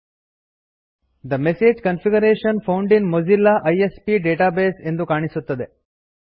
the message configuration found in Mozilla ISP database ಎಂದು ಕಾಣಿಸುತ್ತದೆ